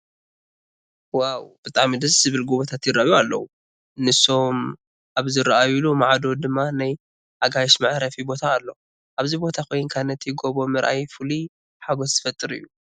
ዋው! ብጣሚ ደስ ዝብሉ ጐቦታት ይርአዩ ኣለዉ፡፡ ንሶም ኣብ ዝረአዩሉ ማዕዶ ድማ ናይ ኣጋይሽ መዕረፊ ቦታ ኣሎ፡፡ ኣብዚ ቦታ ኮይንካ ነቲ ጎቦ ምርኣይ ፍሉይ ሓጐስ ዝፈጥር እዩ፡፡